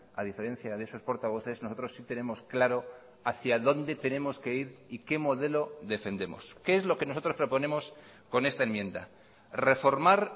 a diferencia de esos portavoces nosotros sí tenemos claro hacia dónde tenemos que ir y qué modelo defendemos qué es lo que nosotros proponemos con esta enmienda reformar